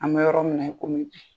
An bɛ yɔrɔ minna i kɔmi bi.